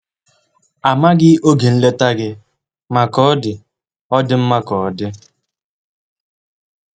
Amaghị oge nleta gị, ma ka ọ dị, ọ dị mma ka ọ dị.